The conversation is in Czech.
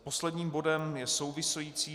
Posledním bodem je související